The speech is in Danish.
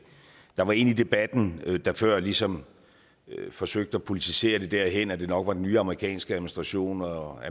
der var en i debatten der før ligesom forsøgte at politisere det derhen at det nok var den nye amerikanske administration og